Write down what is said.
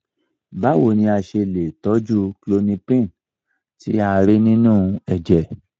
báwo ni a ṣe lè toju klonipin tí a rí nínú ẹ̀jẹ̀?